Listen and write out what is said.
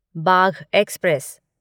Bagh express